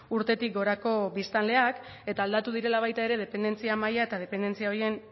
urtetik gorako biztanleak eta aldatu direla baita ere dependentzia maila eta dependentzia horien